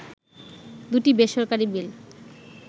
দুটি বেসরকারি বিল